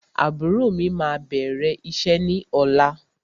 Àbúrò mí máa bẹ̀rẹ̀ iṣẹ́ ní ọ̀la.